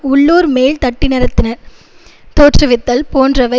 உள்ளூர் மேல்தட்டினரத்தின தோற்றுவித்தல் போன்றவை